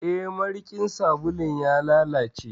Eh, marikin sabulun ya lalace.